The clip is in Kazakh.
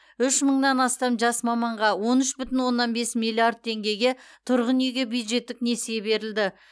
үш мыңнан астам жас маманға он үш бүтін оннан бес миллиард теңгеге тұрғын үйге бюджеттік несие берілді